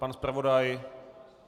Pan zpravodaje?